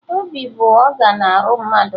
Obi bụ ọgan arụ mmadụ